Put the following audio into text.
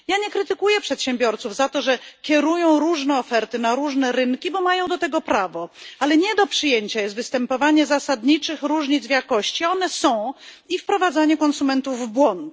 Nie krytykuję przedsiębiorców za to, że kierują różne oferty na różne rynki, bo mają do tego prawo, ale nie do przyjęcia jest występowanie zasadniczych różnic w jakości, a one są, oraz wprowadzanie konsumentów w błąd.